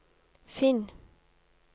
finn